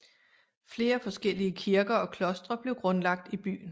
Flere forskellige kirker og klostre blev grundlagt i byen